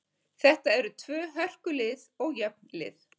Þetta eru tvö hörku lið og jöfn lið.